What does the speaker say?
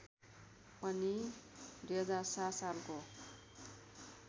पनि २००७ सालको